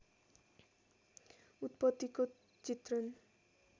उत्पत्तिको चित्रण